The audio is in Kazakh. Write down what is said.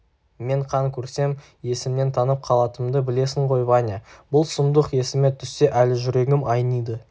мен қан көрсем есімнен танып қалатынымды білесің ғой ваня бұл сұмдық есіме түссе әлі жүрегім айниды